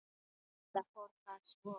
Enda fór það svo.